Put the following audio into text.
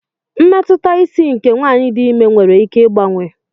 Mmetụta isi nke nwanyị dị imé nwere ike ịgbanwe.